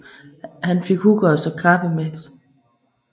Han fik Huggr at kappes med